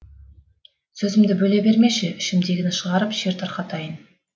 сөзімді бөле бермеші ішімдегіні шығарып шер тарқатайын